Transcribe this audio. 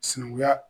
Sinankunya